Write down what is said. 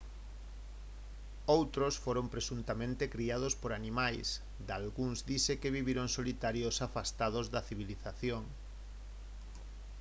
outros foron presuntamente criados por animais dalgúns dise que viviron solitarios afastados da civilización